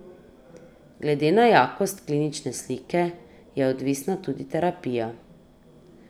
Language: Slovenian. Glede na jakost klinične slike je odvisna tudi terapija.